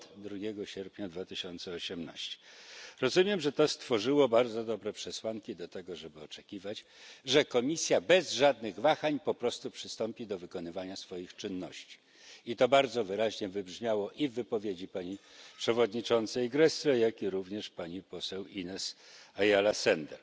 i od 2 sierpnia 2018 r. Rozumiem, że to stworzyło bardzo dobre przesłanki do tego, żeby oczekiwać, że Komisja bez żadnych wahań po prostu przystąpi do wykonywania swoich czynności, i to bardzo wyraźnie wybrzmiało i w wypowiedzi pani przewodniczącej Gräßle, jak również pani poseł Inés Ayala Sender.